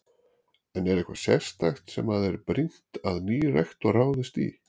En er eitthvað sérstakt sem að er brýnt að nýr rektor ráðist í?